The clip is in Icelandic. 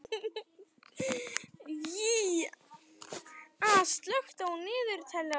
Ýja, slökktu á niðurteljaranum.